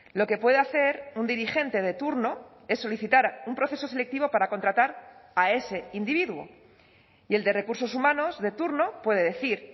lo que puede hacer un dirigente de turno es solicitar un proceso selectivo para contratar a ese individuo y el de recursos humanos de turno puede decir